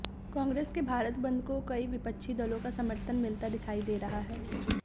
कांग्रेस के भारत बंद को कई विपक्षी दलों का समर्थन मिलता दिखाई दे रहा है